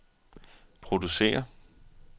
producere